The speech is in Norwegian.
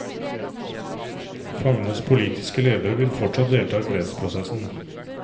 Fangenes politiske ledere vil fortsatt delta i fredsprosessen.